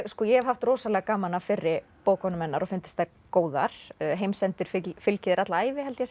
hef haft rosalega gaman af fyrri bókunum hennar og fundist þær góðar heimsendir fylgir þér alla ævi held ég